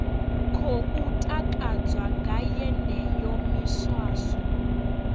khou takadzwa nga yeneyo miswaswo